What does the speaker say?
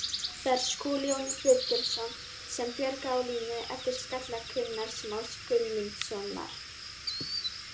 Það er Skúli Jón Friðgeirsson sem bjargaði á línu eftir skalla Gunnars Más Guðmundssonar.